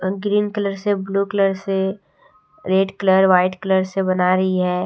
Green colour से blue colour से red colour white colour से बना रही है।